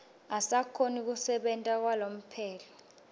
usakhona kusebenta kwalomphelo